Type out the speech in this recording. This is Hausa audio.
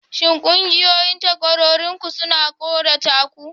Shin ƙungiyoyin takwarorinku suna tsorata ku?